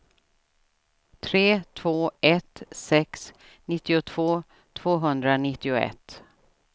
tre två ett sex nittiotvå tvåhundranittioett